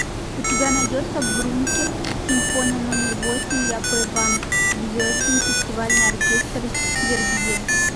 у тебя найдется брункер симфония номер восемь яп ван зведен фестивальный оркестр вербье